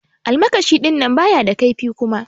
Almakashi dinnan baya da kaifi Kuma.